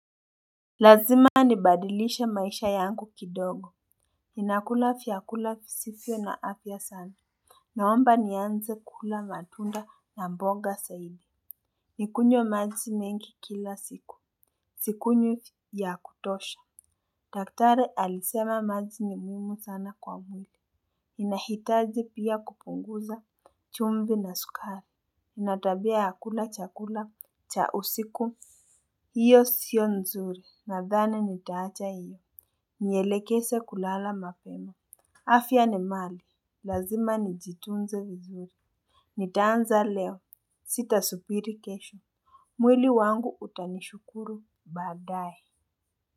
Lazima nibadilishe maisha yangu kidogo. Ninakula fyakula fisifyo na afya sana. Naomba nianze kula matunda na mbonga saidi. Nikunywe maji mengi kila siku. Sikunywi ya kutosha. Daktari alisema maji ni muhimu sana kwa mwili. Ninahitaji pia kupunguza chumvi na sukari. Natabia ya kula chakula cha usiku. Iyo sio nzuri nadhani nitaacha iyo. Nielekese kulala mapena. Afia ni mali. Lazima nijitunze vizuri. Nitaanza leo sita supiri kesho. Mwili wangu utanishukuru baadaye.